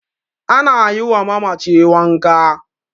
ana yiwa mamaci wanka